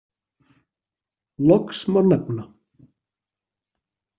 Loks má nefna.